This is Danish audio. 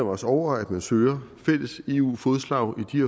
også over at man søger fælles eu fodslag i